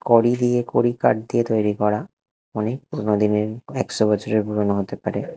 কড়ি দিয়ে কড়িকাঠ দিয়ে তৈরী করা অনেকগুনো দিনের একশো বছরের পুরোনো হতে পারে।